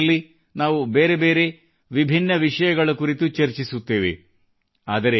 ಮನದ ಮಾತು ನಲ್ಲಿ ನಾವು ಬೇರೆ ಬೇರೆ ವಿಭಿನ್ನ ವಿಷಯಗಳ ಕುರಿತು ನಾವು ಚರ್ಚಿಸುತ್ತೇವೆ